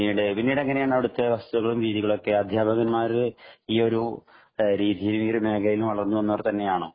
പിന്നീട് എങ്ങനെയാണ് അവിടുത്തെ അവസ്ഥകളും രീതികളും ഒക്കെ അധ്യാപകരും ഈ ഒരു രീതിയിൽ ഈ ഒരു മേഖലയിൽ വളർന്നു വന്നവരാണോ